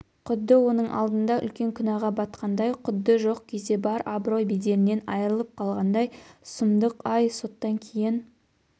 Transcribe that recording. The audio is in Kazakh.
құдды оның алдында үлкен күнәға батқандай құдды жоқ кезде бар абырой-беделінен айырылып қалғандай сұмдық-ай соттан кейін